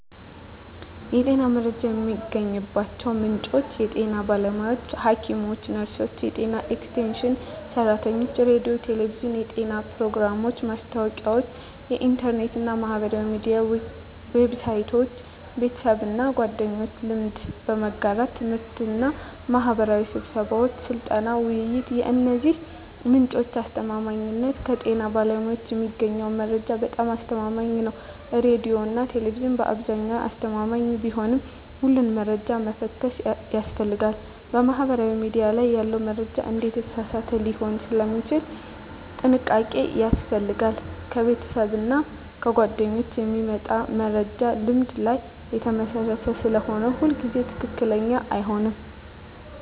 የጤና መረጃ የሚገኝባቸው ምንጮች የጤና ባለሙያዎች (ሐኪሞች፣ ነርሶች፣ የጤና ኤክስቴንሽን ሰራተኞች) ሬዲዮና ቴሌቪዥን (የጤና ፕሮግራሞች፣ ማስታወቂያዎች) ኢንተርኔት እና ማህበራዊ ሚዲያ ዌብሳይቶች) ቤተሰብና ጓደኞች (ልምድ በመጋራት) ት/ቤትና ማህበራዊ ስብሰባዎች (ስልጠና፣ ውይይት) የእነዚህ ምንጮች አስተማማኝነት ከጤና ባለሙያዎች የሚገኘው መረጃ በጣም አስተማማኝ ነው ሬዲዮና ቴሌቪዥን በአብዛኛው አስተማማኝ ቢሆንም ሁሉንም መረጃ መፈተሽ ያስፈልጋል ማህበራዊ ሚዲያ ላይ ያለ መረጃ አንዳንዴ የተሳሳተ ሊሆን ስለሚችል ጥንቃቄ ያስፈልጋል ከቤተሰብና ጓደኞች የሚመጣ መረጃ ልምድ ላይ የተመሰረተ ስለሆነ ሁሉ ጊዜ ትክክለኛ አይሆንም